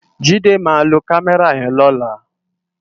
Jide má ló kàmèrá yèn lòlá